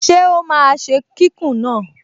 Ṣé ó máa ṣe kíkùn náà?